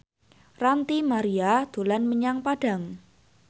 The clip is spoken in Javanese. Ranty Maria dolan menyang Padang